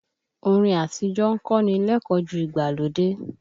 Orin àtíjọ́ ń kọ́ni lẹ́kọ̀ọ́ ju ìgbàlódé.